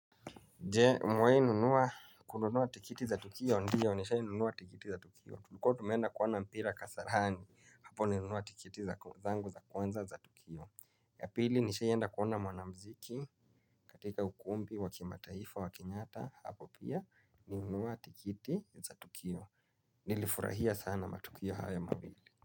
Umewai nunua kununua tikiti za tukio ndiyo nishai nunua tikiti za tukio tulikuwa tumenda kuona mpira kasarani hapo nilinunua tikiti za kwanza za tukio. Ya pili nishai enda kuona mwanamuziki katika ukumbi wa kimataifa wakenyatta hapo pia. Nilunua tikiti za tukio. Nilifurahia sana matukio haya mawili.